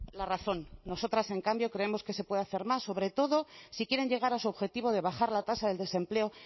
la razón nosotras en cambio creemos que se puede hacer más sobre todo si quieren llegar a su objetivo de bajar la tasa del desempleo